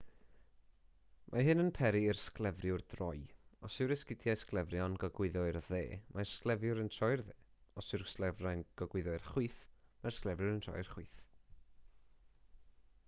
mae hyn yn peri i'r sglefriwr droi os yw'r esgidiau sglefrio yn gogwyddo i'r dde mae'r sglefriwr yn troi i'r dde os yw'r sglefrau'n gogwyddo i'r chwith mae'r sglefriwr yn troi i'r chwith